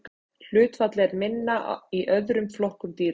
Hlutfallið er minna í öðrum flokkum dýra.